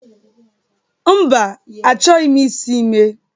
Mba, achọghị m isi ime